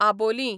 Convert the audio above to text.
आबोलीं